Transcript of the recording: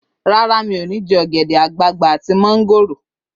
Rárá, mi ò ní jẹ ogede-agbagba àti mongoro